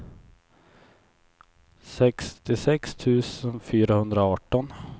sextiosex tusen fyrahundraarton